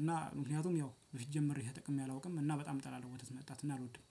እና ምክንያቱም ያው በፊት ጀምሬ ተጠቅሜ አላውቅም እና በጣም ጠላለው ወተት መጣት እና አልወድም